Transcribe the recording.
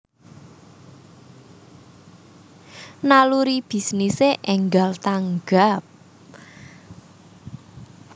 Naluri bisnise enggal tanggap